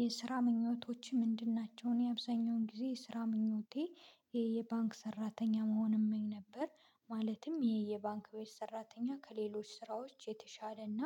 የስራ ምኞቶችህ ምንድን ናቸው? እኔ አብዛኛውን ጊዜ የስራ ምኞቴ የባንክ ሰራተኛ መሆንም እመኝ ነበር። ማለትም የባንክቤት ሰራተኛ ከሌሎች ስራዎች የተሻለና